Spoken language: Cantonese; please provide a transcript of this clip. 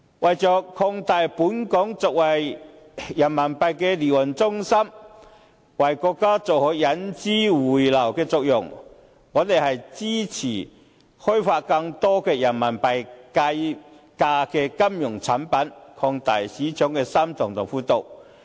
為了壯大本港作為人民幣離岸中心的地位，為國家做好引資匯流的作用，我們支持開發更多人民幣計價的金融產品，擴大市場的深度和闊度。